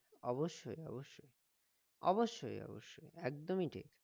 অবশ্যই অবশ্যই অবশ্যই অবশ্যই একদমই ঠিক